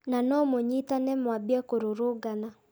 Na no mũnyitane mwambie kũrũrũngana